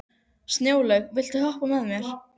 Snjólaug, viltu hoppa með mér?